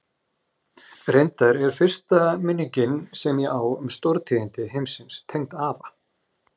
Reyndar er fyrsta minningin sem ég á um stórtíðindi heimsins tengd afa.